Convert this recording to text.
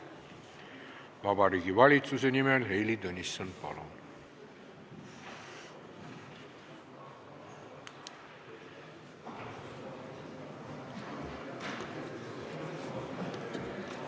Vabariigi Valitsuse nimel Heili Tõnisson, palun!